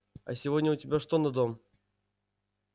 а сегодня у тебя что на дом